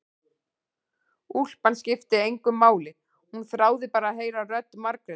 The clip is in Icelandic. Úlpan skipti engu máli, hún þráði bara að heyra rödd Margrétar.